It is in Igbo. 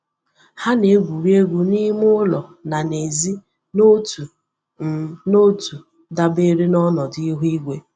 Ha na-egwuri egwu n'ime ụlọ na n'èzí n'otu um n'otu dabere na ọnọdụ ihu igwe.